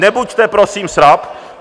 Nebuďte prosím srab!